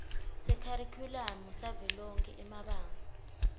sekharikhulamu savelonkhe emabanga